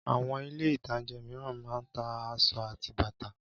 Àwọn Ilé-ìtajà mìíràn máa ń ta aṣọ àti bàtà